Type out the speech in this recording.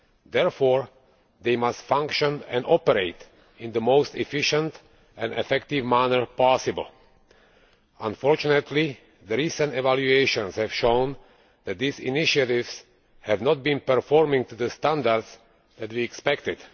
Therefore, they must function and operate in the most efficient and effective manner possible. Unfortunately, recent evaluations have shown that these initiatives have not been performing to the standards that we expected.